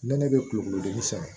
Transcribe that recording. Nɛnɛ bɛ kulukulu dimi sɛbɛ